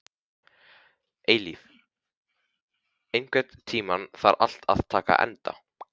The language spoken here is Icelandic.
Eilíf, einhvern tímann þarf allt að taka enda.